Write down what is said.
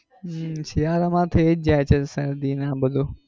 હમ શિયાળા માં થઇ જાય છે શરદી ને આ બધું.